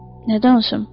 Nə danışım?